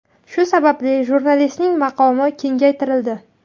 Shu sababli jurnalistning maqomi kengaytirildi.